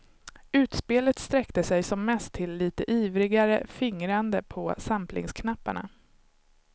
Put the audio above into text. Utspelet sträckte sig som mest till lite ivrigare fingrande på samplingsknapparna.